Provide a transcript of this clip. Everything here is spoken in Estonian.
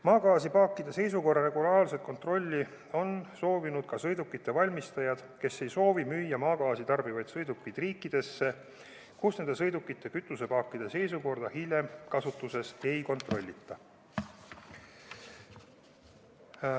Maagaasipaakide seisukorra regulaarset kontrolli on soovinud ka sõidukite valmistajad, kes ei soovi müüa maagaasi tarbivaid sõidukeid riikidesse, kus nende sõidukite kütusepaakide seisukorda hiljem kasutuses ei kontrollita.